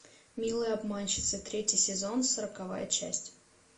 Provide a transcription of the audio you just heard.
милые обманщицы третий сезон сороковая часть